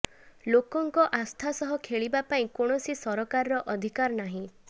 ଲୋକଙ୍କ ଆସ୍ଥା ସହ ଖେଳିବା ପାଇଁ କୌଣସି ସରକାରର ଅଧିକାର ନାହିଁ